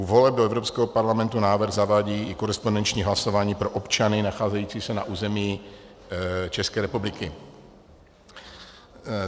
U voleb do Evropského parlamentu návrh zavádí i korespondenční hlasování pro občany nacházející se na území České republiky.